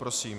Prosím.